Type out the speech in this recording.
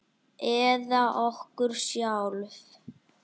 Eða okkur sjálf?